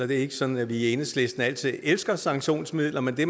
det er ikke sådan at vi i enhedslisten altid elsker sanktionsmidler men det